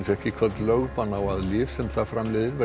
fékk í kvöld lögbann á að lyf sem það framleiðir